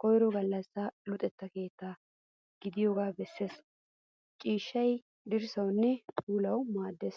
koyiro gallassa luxetta keettaa gidiyoogaa besses. Ciishshay dirssawunne puulawu maaddes.